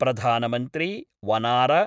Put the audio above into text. प्रधानमन्त्री वनार